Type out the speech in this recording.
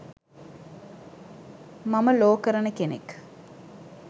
මම ලෝ කරන කෙනෙක්